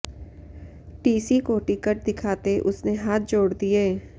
TC को ticket दिखाते उसने हाथ जोड़ दिए